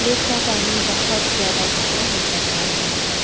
Lake का पानी बहोत ज्यादा गहरा नज़र आ रहा है।